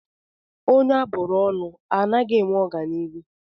Onye a bụrụ ọnụ ana-enwe ọganihu?